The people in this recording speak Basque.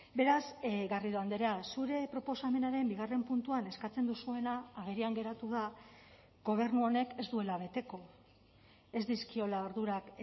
beraz garrido andrea zure proposamenaren bigarren puntuan eskatzen duzuena agerian geratu da gobernu honek ez duela beteko ez dizkiola ardurak